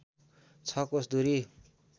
६ कोस दूरी